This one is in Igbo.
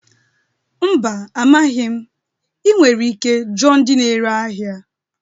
Mba, amaghị m. Ị nwere ike jụọ ndị na-ere ahịa.